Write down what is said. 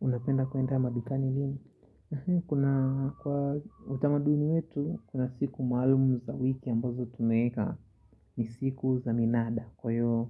Unapenda kuenda madukani lini? Kuna kwa utamaduni wetu, kuna siku maalumu za wiki ambazo tumeeka ni siku za minada. Kwa hiyo